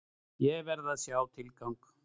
Ég verð að sjá tilgang!